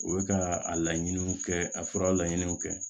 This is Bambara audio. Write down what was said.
U bɛ ka a laɲiniw kɛ a furaw laɲiniw kɛ